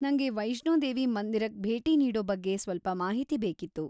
ನಂಗೆ ವೈಷ್ಣೋದೇವಿ ಮಂದಿರಕ್ ಭೇಟಿ ನೀಡೋ ಬಗ್ಗೆ ಸ್ವಲ್ಪ ಮಾಹಿತಿ ಬೇಕಿತ್ತು.